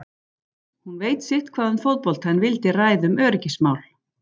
Hún veit sitthvað um fótbolta en vildi ræða um öryggismál.